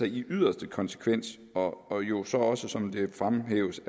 i yderste konsekvens og og jo så også som det fremhæves